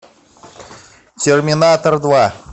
терминатор два